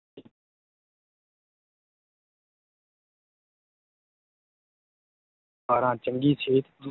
ਬਾਰਾਂ ਚੰਗੀ ਸਿਹਤ,